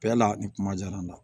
Bɛɛ la ni kuma diyara n na